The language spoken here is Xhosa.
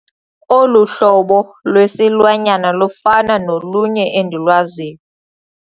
Olu hlobo lwesilwanyana lufana nolunye endilwaziyo.